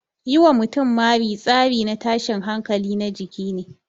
Yi wa mutum mari tsari na tashin hankali na jiki ne.